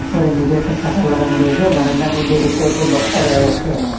ঘরের নীচে একটা শাটার লাগানো রয়েসে বারান্দার মইধ্যে সোট্ট একটা বস্তা দেখা যাচ্ছে।